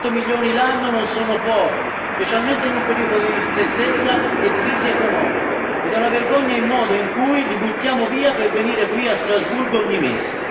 200 milioni l'anno non sono pochi, specialmente in un periodo di ristrettezza e crisi economica ed è una vergogna il modo in cui li buttiamo via per venire qui a Strasburgo ogni mese.